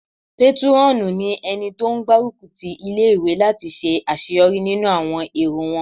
Pétúrọ̀nù ní ẹni tó n gbárùkù ti ilé-ìwé láti ṣe àṣeyọrí nínú àwọn èrò won